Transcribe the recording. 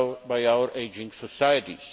by our ageing societies.